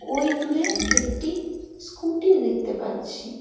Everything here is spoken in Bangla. ওই দূরে একটি স্কুটি দেখতে পাচ্ছি।